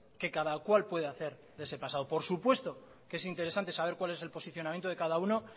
que cada cual pueda hacer de ese pasado por supuesto que es interesante saber cuál es el posicionamiento de cada uno